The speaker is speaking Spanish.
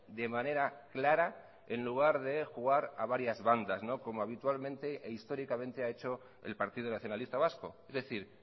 de manera clara en lugar de jugar a varias bandas como habitualmente e históricamente ha hecho el partido nacionalista vasco es decir